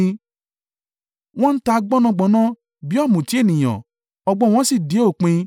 Wọ́n ń ta gbọ̀nọ́ngbọ̀nọ́n bí ọ̀mùtí ènìyàn: ọgbọ́n wọn sì dé òpin.